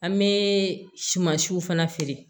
An bɛ sumansiw fana feere